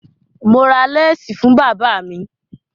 Mo ra láásì fún bàba mi.